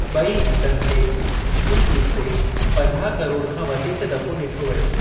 बे॒ई गीतनि खे YouTube ते पंजाह करोड़ खां वधीक दफ़ो डि॒ठो वियो।